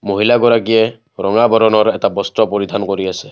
মহিলা গৰাকীয়ে ৰঙা বৰণৰ এটা বস্ত্ৰ পৰিধান কৰি আছে।